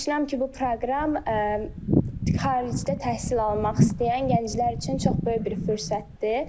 Düşünürəm ki, bu proqram xaricdə təhsil almaq istəyən gənclər üçün çox böyük bir fürsətdir.